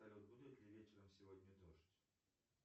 салют будет ли вечером сегодня дождь